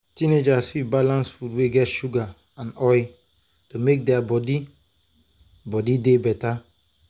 um teenagers fit balance food wey get sugar and oil to make their body body dey better.